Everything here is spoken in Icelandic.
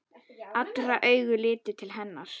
Allra augu litu til hennar.